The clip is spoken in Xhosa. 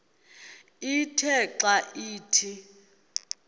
ithe xa ithi